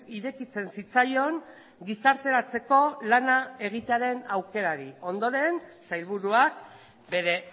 irekitzen zitzaion gizarteratzeko lana egitearen aukerari ondoren sailburuak bere